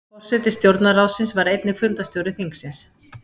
Forseti stjórnarráðsins var einnig fundarstjóri þingsins.